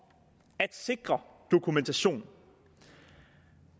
at sikre dokumentation